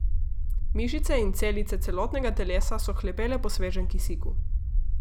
Mišice in celice celotnega telesa so hlepele po svežem kisiku.